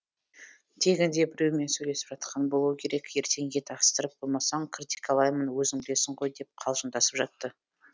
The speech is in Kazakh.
тегінде біреумен сөйлесіп жатқан болуы керек ертең ет астырып қоймасаң критикалаймын өзің білесің ғой деп қалжыңдасып жатты